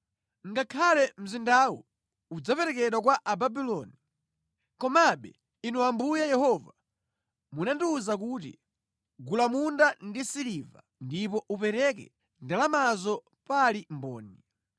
Ngakhale mzindawu udzaperekedwa kwa Ababuloni, komabe Inu Ambuye Yehova, munandiwuza kuti, ‘Gula munda ndi siliva ndipo upereke ndalamazo pali mboni.’ ”